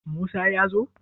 Musa ya zo?